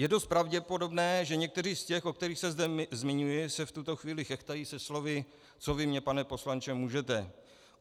Je dost pravděpodobné, že někteří z těch, o kterých se zde zmiňuji, se v tuto chvíli chechtají se slovy: co vy mně, pane poslanče, můžete.